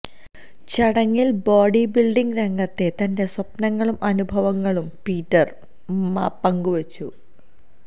ചടങ്ങില് body building രംഗത്തെ തന്റെ സ്വപ്നങ്ങളും അനുഭവങ്ങളും പീറ്റര് മപങ്കുവച്ചു